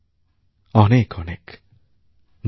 অনেক অনেক ধন্যবাদ